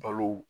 Balo